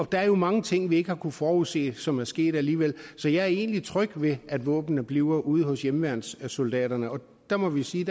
der er jo mange ting vi ikke har kunnet forudse som er sket alligevel så jeg er egentlig tryg ved at våbnene bliver ude hos hjemmeværnssoldaterne og der må vi sige